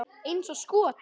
Eins og skot!